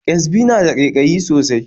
Ƙyasbi na da ƙaiƙayi sosai